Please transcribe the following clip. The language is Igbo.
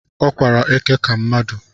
Ọ kwara eke ka mmadụ